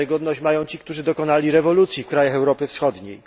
Tę wiarygodność mają ci, którzy dokonali rewolucji w krajach Europy Wschodniej.